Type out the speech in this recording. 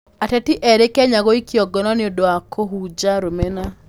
Ateti erĩ Kenya gũikio ngono nĩ ũndũ wa kũhunja rũmena